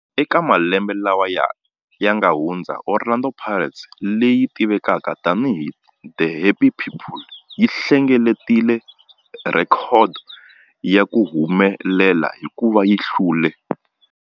Eka malembe lawa yanga hundza, Orlando Pirates, leyi tivekaka tani hi 'The Happy People', yi hlengeletile rhekhodo ya ku humelela hikuva yi hlule